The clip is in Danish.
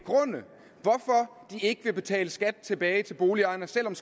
ikke vil betale skat tilbage til boligejerne selv om